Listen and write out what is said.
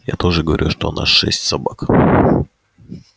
я тоже говорю что у нас шесть собак